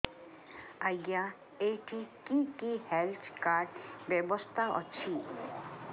ଆଜ୍ଞା ଏଠି କି କି ହେଲ୍ଥ କାର୍ଡ ବ୍ୟବସ୍ଥା ଅଛି